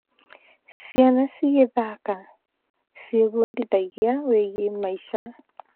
Ciana cigĩthaka, ciebundithagia wĩgiĩ maica.